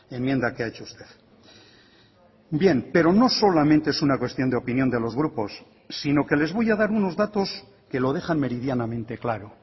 enmienda que ha hecho usted bien pero no solamente es una cuestión de opinión de los grupos sino que les voy a dar unos datos que lo dejan meridianamente claro